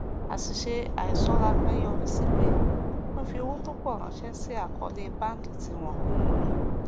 àṣìṣe àìṣọra kan yọrí sí pé wọn fi owó tó pọ ránṣẹ sí àkọọlẹ báńkì tí wọn kò mọ